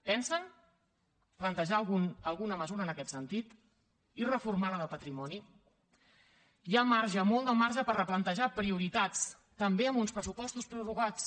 pensen plantejar alguna mesura en aquest sentit i reformar la de patrimoni hi ha marge molt de marge per replantejar prioritats també amb uns pressupostos prorrogats